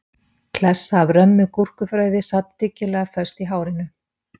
Klessa af römmu gúrkufrauði sat dyggilega föst í hárinu